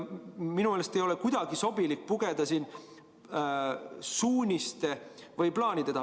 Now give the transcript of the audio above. Minu meelest ei ole kuidagi sobilik pugeda siin suuniste või plaanide taha.